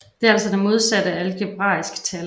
Det er altså det modsatte af et algebraisk tal